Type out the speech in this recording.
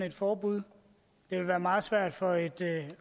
et forbud det vil være meget svært for et